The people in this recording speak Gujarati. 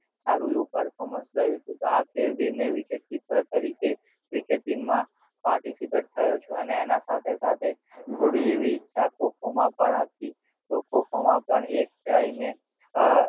સારું આવું performance રહું હતું તો આ ફેર બી મેં wicket keeper તરીકે cricket team માં participate થયો છુ અને એનાં સાથે સાથે થોડી ઈચ્છા ખો ખો માં પણ હતી તો ખો ખો માં પણ એક time એ